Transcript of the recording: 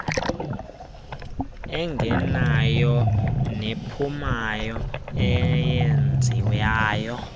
engenayo nephumayo eyenziwayo